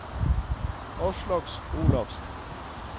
Aslak Olafsen